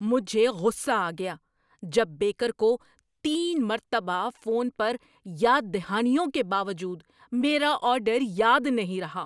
مجھے غصہ آ گیا جب بیکر کو تین مرتبہ فون پر یاد دہانیوں کے باوجود میرا آرڈر یاد نہیں رہا۔